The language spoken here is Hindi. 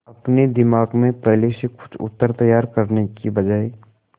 अपने दिमाग में पहले से कोई उत्तर तैयार करने की बजाय